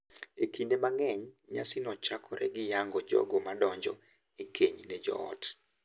Kinde mang’eny, nyasino chakore gi yango jogo madonjo e keny ne joot.